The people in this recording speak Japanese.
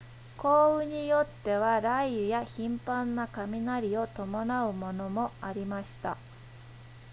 降雨によっては雷雨や頻繁な雷を伴うものもありました